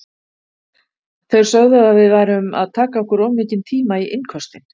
Þeir sögðu að við værum að taka okkur of mikinn tíma í innköstin.